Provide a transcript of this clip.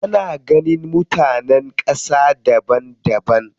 Ana ganin mutanen ƙasa daban daban.